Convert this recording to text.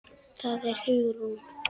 Það var Hugrún!